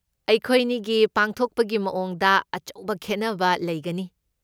ꯑꯩꯈꯣꯏꯅꯤꯒꯤ ꯄꯥꯡꯊꯣꯛꯄꯒꯤ ꯃꯑꯣꯡꯗ ꯑꯆꯧꯕ ꯈꯦꯠꯅꯕ ꯂꯩꯒꯅꯤ꯫